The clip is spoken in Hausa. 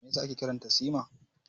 Me yasa ake kiran ta Sima?